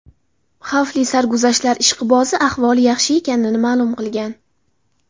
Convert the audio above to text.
Xavfli sarguzashtlar ishqibozi ahvoli yaxshi ekanini ma’lum qilgan.